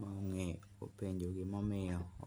mong'eyo openjo gimomiyo.